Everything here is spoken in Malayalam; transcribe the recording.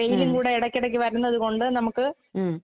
ഉം ഉം.